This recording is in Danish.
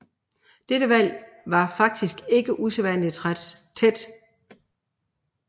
Dette valg var faktisk ikke usædvanligt tæt